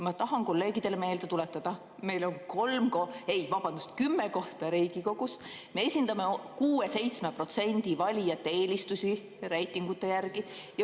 Ma tahan kolleegidele meelde tuletada, et meil on kolm ..., ei, vabandust, kümme kohta Riigikogus, me esindame 6–7% valijate eelistusi reitingute järgi.